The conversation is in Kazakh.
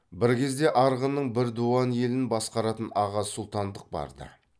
бір кезде арғынның бір дуан елін басқаратын аға сұлтандық барды